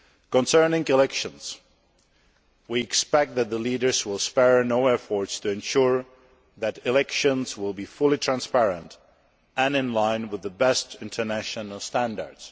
Concerning elections, we expect that the leaders will spare no efforts to ensure that elections will be fully transparent and in line with the best international standards.